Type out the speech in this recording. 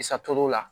I satɔro la